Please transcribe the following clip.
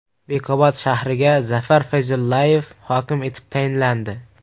Bekobod shahriga Zafar Fayzullayev hokim etib tayinlandi.